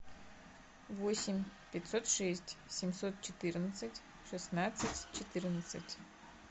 восемь пятьсот шесть семьсот четырнадцать шестнадцать четырнадцать